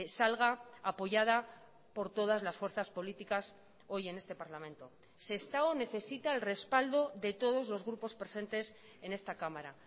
salga apoyada por todas las fuerzas políticas hoy en este parlamento sestao necesita el respaldo de todos los grupos presentes en esta cámara